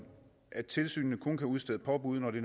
at tilsynet kun kan udstede påbud når det